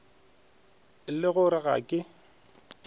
le go re ga ke